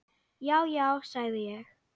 Já, já, sagði ég.